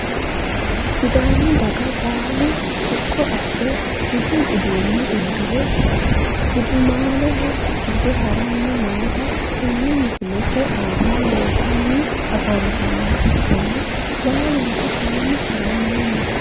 Sidaamu dagga baalu siqqo adhe budu uduune udire gudumaale hige harani noota tene misilete aana leeltani afantanoha ikana baaluniku kayini haranino.